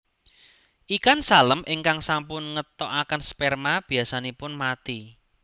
Ikan salem ingkang sampun ngetoaken sperma biasanipun mati